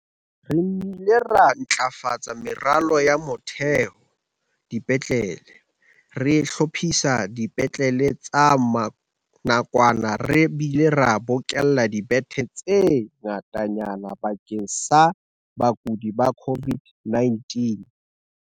"Re nnile ra ntlafatsa meralo ya motheo dipetlele, re hlophisa dipetlele tsa nakwana re bile re bokella dibethe tse ngatanyana bakeng sa bakudi ba COVID-19."